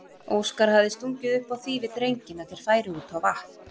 Óskar hafði stungið upp á því við drenginn að þeir færu út á vatn.